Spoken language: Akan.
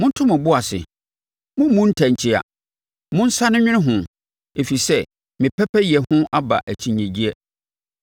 Monto mo bo ase, mommu ntɛnkyea; monsane nnwene ho, ɛfiri sɛ me pɛpɛyɛ ho aba akyinnyegyeɛ.